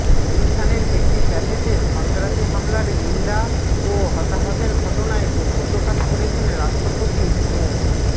গুলশানের একটি ক্যাফেতে সন্ত্রাসী হামলার নিন্দা ও হতাহতের ঘটনায় দুঃখ প্রকাশ করেছেন রাষ্ট্রপতি মো